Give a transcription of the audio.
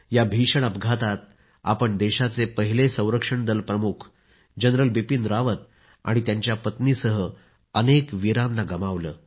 या भीषण अपघातात आपण देशाचे पहिले संरक्षण दल प्रमुख जनरल बिपिन रावत आणि त्यांच्या पत्नीसह अनेक वीरांना गमावले